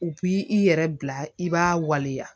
U b'i i yɛrɛ bila i b'a waleya